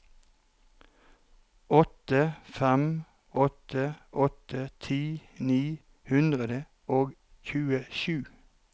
åtte fem åtte åtte ti ni hundre og tjuesju